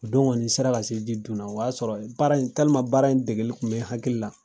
O don kɔni n sera ka se ji dun na, o y'a sɔrɔ baara in baara in dɛgɛ tun bɛ hakili la